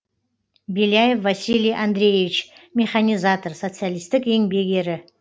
беляев василий андреевич механизатор социалистік еңбек ері